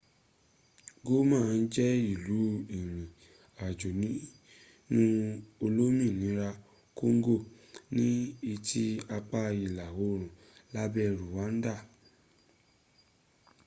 goma jẹ́ ìlú ìrìn ajo nínú olominira kongo ní etí apá ìlà orùn lẹ́gbẹ́ ruwanda